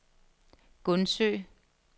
Gundsø